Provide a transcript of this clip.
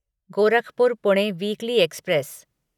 Gorakhpur Pune weekly express